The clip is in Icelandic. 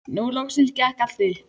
Nú loksins gekk allt upp.